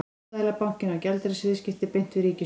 Seðlabankinn á gjaldeyrisviðskipti beint við ríkissjóð.